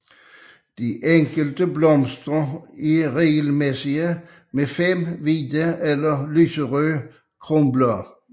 De enkelte blomster er regelmæsssige med 5 hvide eller lyserøde kronblade